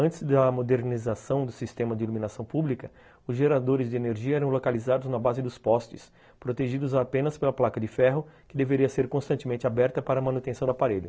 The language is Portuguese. Antes da modernização do sistema de iluminação pública, os geradores de energia eram localizados na base dos postes, protegidos apenas pela placa de ferro, que deveria ser constantemente aberta para a manutenção do aparelho.